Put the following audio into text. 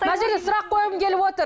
мына жерде сұрақ қойғым келіп отыр